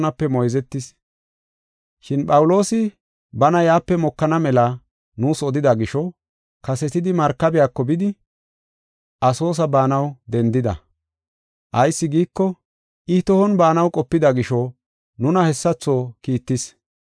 Shin Phawuloosi bana yaape mokana mela nuus odida gisho, kasetidi markabiyako bidi, Asoosa baanaw dendida. Ayis giiko, I tohon baanaw qopida gisho nuna hessatho kiittis.